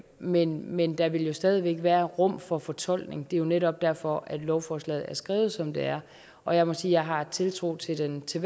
men men der vil jo stadig væk være rum for fortolkning det er netop derfor at lovforslaget er skrevet som det er og jeg må sige at jeg har tiltro til den til